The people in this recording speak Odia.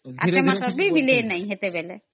ସେତେବେଳେ ମିଲେ ବି ନାଇ